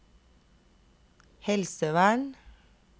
helsevern